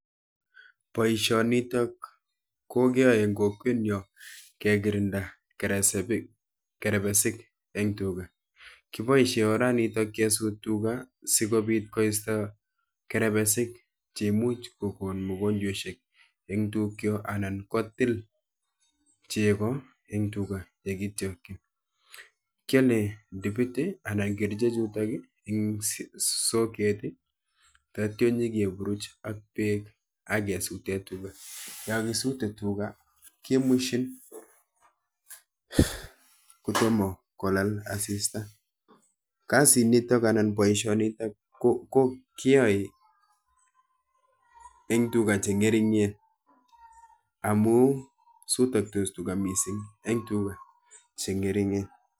Boishonitok keyoi en kokwet nyo kelirinda kerebesik en tuga ,kiboishi orenotok kpisto kerebesik che imuch ko kon mianwokik en tug chook anan ko til chego, kiole dipit ana ko kerichek akepuruch ak beek ake pis tuga kiyoe boihonitok karoon ako en tuga che ng'eringen